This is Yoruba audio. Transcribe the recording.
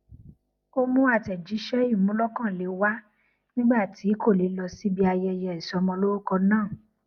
ó mú àtẹjíṣẹ ìmúlọkànle wá nígbà tí kò lè lọ síbi ayẹyẹ ìsọmọlórúkọ náà